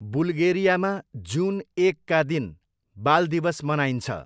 बुल्गेरियामा जुन एकका दिन बाल दिवस मनाइन्छ।